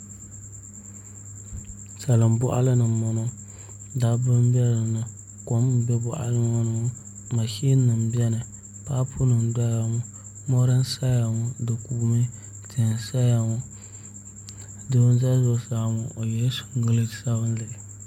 Salin boɣali ni n boŋo dabba n bɛ dinni kom n do boɣali ŋo ni ŋo mashin nim biɛni paapu nim n doya ŋo mori n saya ŋo di kuumi tihi n saya ŋo doo n ʒɛ zuɣusaa ŋo o yɛla singirɛt sabinli